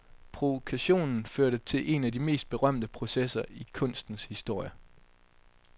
Provokationen førte til en af de mest berømte processer i kunstens historie.